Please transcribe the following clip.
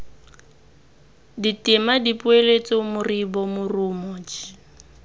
ditema dipoeletso moribo morumo jj